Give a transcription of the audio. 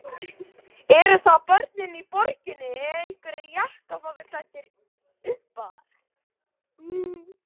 Eru það börnin í borginni eða einhverjir jakkafataklæddir uppar?